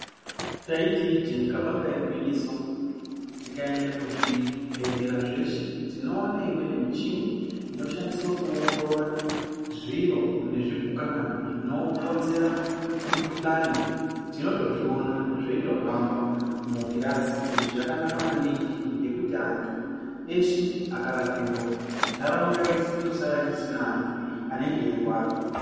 Taiti ijee kabanga igwinyiso tikaende kuzvibhedhlera zveshe tinoone imweni michini inoshandiswa kuongorora zviro nezvopukanana zvinokonzera mikuhlani. Tinotozviona zveitohamba mugirazi izvi zvakanaka maningi ngokuti antu eshe akarapiwa ntaraunda yeshe inosara isisina antu anenge eirwara.